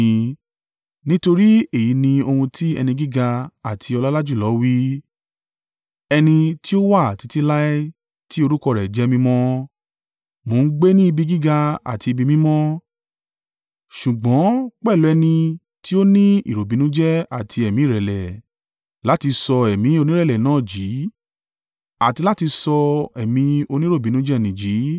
Nítorí èyí ni ohun tí Ẹni gíga àti ọlọ́lá jùlọ wí ẹni tí ó wà títí láé, tí orúkọ rẹ̀ jẹ́ mímọ́: “Mo ń gbé ní ibi gíga àti ibi mímọ́, ṣùgbọ́n pẹ̀lú ẹni n nì tí ó ní ìròbìnújẹ́ àti ẹ̀mí ìrẹ̀lẹ̀, láti sọ ẹ̀mí onírẹ̀lẹ̀ náà jí àti láti sọ ẹ̀mí oníròbìnújẹ́ n nì jí.